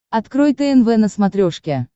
открой тнв на смотрешке